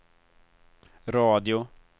radio